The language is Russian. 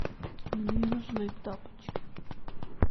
мне нужны тапочки